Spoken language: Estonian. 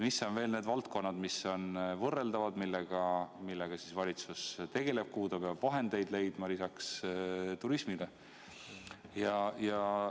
Mis on veel need valdkonnad, kus on võrreldav kriis, millega valitsus tegeleb ja kuhu ta peab vahendeid leidma lisaks turismile?